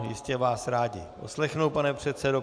Ano, jistě vás rádi poslechnou, pane předsedo.